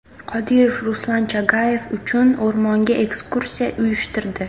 Qodirov Ruslan Chagayev uchun o‘rmonga ekskursiya uyushtirdi.